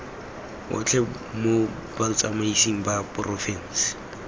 otlhe mo botsamaisng ba porofense